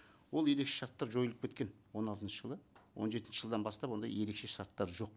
ол ерекше шарттар жойылып кеткен он алтыншы жылы он жетінші жылдан бастап ондай ерекше шарттар жоқ